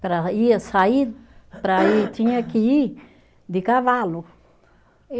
Para ir, sair, para ir, tinha que ir de cavalo.